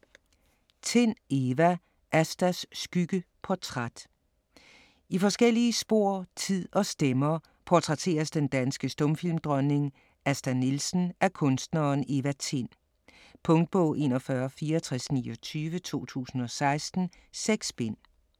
Tind, Eva: Astas skygge: portræt I forskellige spor, tid og stemmer portrætteres den danske stumfilmdronning Asta Nielsen af kunstneren Eva Tind. Punktbog 416429 2016. 6 bind.